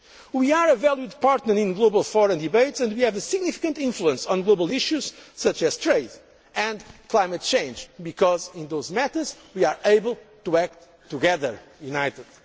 united. We are a valued partner in global fora and debates and we have a significant influence on global issues such as trade and climate change because in those matters we are able to act together,